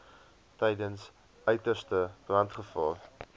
tydens uiterste brandgevaar